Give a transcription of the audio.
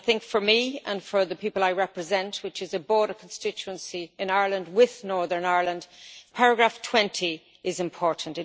For me and for the people I represent, which is a border constituency in Ireland with Northern Ireland, paragraph 20 is important.